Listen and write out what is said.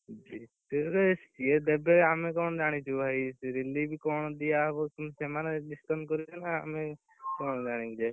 ସିଏ ଦେବେ ଆମେ କଣ ଜାଣିଛୁ ଭାଇ relief କଣ ଦିଆହବ ସେମାନେ discussion କରିବେ ନା ଆମେ କଣ ଜାଣିବୁ ଯେ?